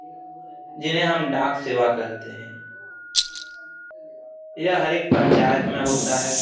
जिन्हे हम डाक सेवा कहते है यह हर एक पंचायत मे होता है।